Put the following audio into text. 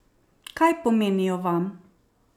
Kaj pomenijo vam?